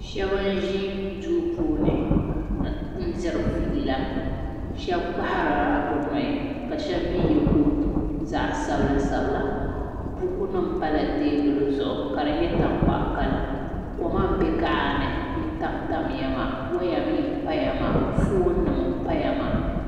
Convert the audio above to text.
Shab n ʒi duu puuni n diri fiila shab kpaharila bi nuhi ka shab mii yɛ kootu zaɣ sabila sabila buku nim pala teebuli zuɣu ka di nyɛ zaɣ tankpaɣu kala koma n bɛ kaɣa ni ntamtamya maa woya mii n paya maa foon nim paya maa